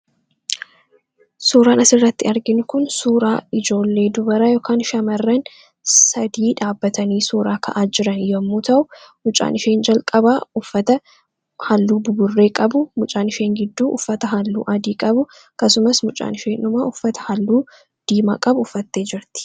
Suuraan asirratti arginu kun suura ijoollee yookaan dubara sadii dhaabbatanii suuraa ka'aa jiran yommuu ta'u, mucaan ishee jalqabaa uffata halluu buburree qabu, mucaan ishee gidduu uffata halluu adii qabu akkasumas mucaan ishee dhumaa uffata halluu diimaa qabu uffattee jirti.